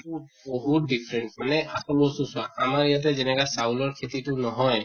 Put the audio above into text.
উম । উ বহুত different মানে আমাৰ ইয়াতে যেনেকা চাউলৰ খেতি তো নহয়